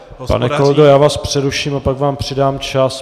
Pane kolego, já vás přeruším a pak vám přidám čas.